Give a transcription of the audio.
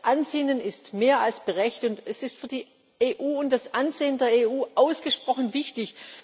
Das Ansinnen ist mehr als gerecht, und es ist für die EU und das Ansehen der EU ausgesprochen wichtig.